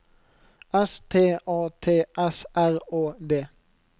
S T A T S R Å D